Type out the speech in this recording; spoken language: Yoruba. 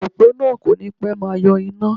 Òpó náà kò ní pẹ́ máa yọ iná